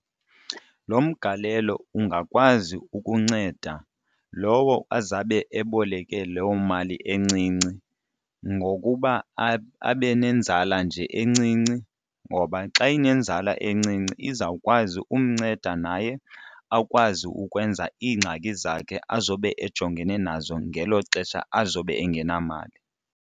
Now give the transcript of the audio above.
Lo mgalelo ungakwazi ukunceda lowo azabe eboleke loo mali encinci ngokuba abe nenzala nje encinci, ngoba xa inenzala encinci izawukwazi umnceda naye akwazi ukwenza iingxaki zakhe azobe ejongene nazo ngelo xesha azobe engenamali.